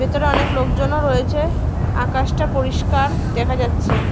ভিতরে অনেক লোকজনও রয়েছে আকাশটা পরিষ্কার দেখা যাচ্ছে।